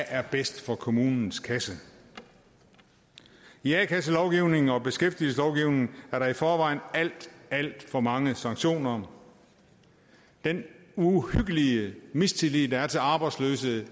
er bedst for kommunens kasse i a kasselovgivningen og beskæftigelseslovgivningen er der i forvejen alt alt for mange sanktioner den uhyggelige mistillid der efterhånden er til arbejdsløse